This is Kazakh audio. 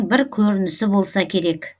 бір көрінісі болса керек